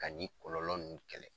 Ka ni kɔlɔlɔ ninnu kɛlɛ.